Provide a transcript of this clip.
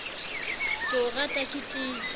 ke o rata ke tiile